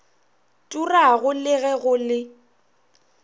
turago le ge go le